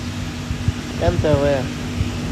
нтв